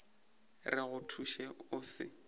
re go thuše o se